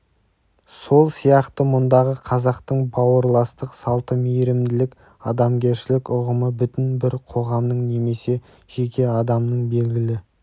сол сияқты мұндағы қазақтың бауырластық салты мейірімділік адамгершілік ұғымы бүтін бір қоғамның немесе жеке адамның белгілі